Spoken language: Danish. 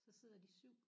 Så sidder de 7